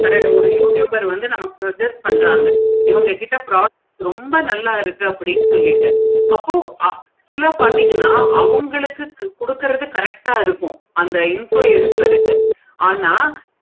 நெறைய ஒரு youtuber வந்து நெறைய நமக்கு adjust பன்றாங்க இவுங்க கிட்ட product ரொம்ப நல்ல இருக்கு சொல்லிட்டு அப்போ actual ஆஹ் பார்த்தீங்கன்னா அவுங்களுக்கு கொடுக்குறது correct ஆஹ் இருக்கும். அந்த influencer ருக்கு ஆனா